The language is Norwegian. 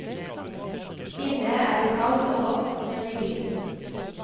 Inne er det kaldt og rått, men hyggelig.